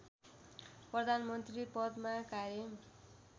प्रधानमन्त्री पदमा कायम